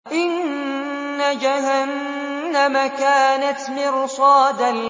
إِنَّ جَهَنَّمَ كَانَتْ مِرْصَادًا